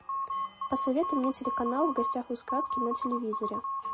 посоветуй мне телеканал в гостях у сказки на телевизоре